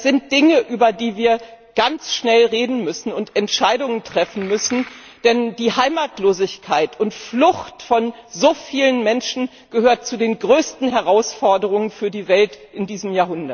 Das sind Dinge, über die wir ganz schnell reden und Entscheidungen treffen müssen, denn die Heimatlosigkeit und Flucht von so vielen Menschen gehört zu den größten Herausforderungen für die Welt in diesem